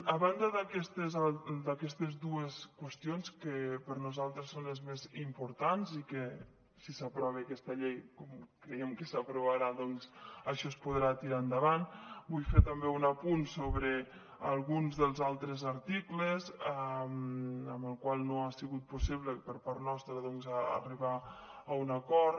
a banda d’aquestes dues qüestions que per nosaltres són les més importants i que si s’aprova aquesta llei com creiem que s’aprovarà això es podrà tirar endavant vull fer també un apunt sobre alguns dels altres articles en els quals no ha sigut possible per part nostra arribar a un acord